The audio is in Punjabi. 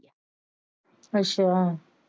ਅੱਛਾ।